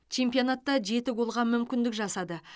чемпионатта жеті голға мүмкіндік жасады